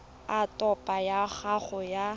a topo ya gago ya